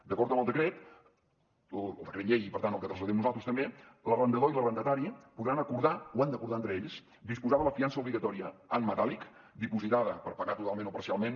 d’acord amb el decret llei i per tant el que traslladem nosaltres també l’arrendador i l’arrendatari podran acordar ho han d’acordar entre ells disposar de la fiança obligatòria en metàl·lic dipositada per pagar totalment o parcialment